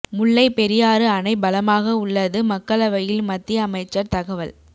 முல்லை பெரியாறு அணை பலமாக உள்ளது மக்களவையில் மத்திய அமைச்சர் தகவல்